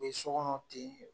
U be sɔkɔnɔ ten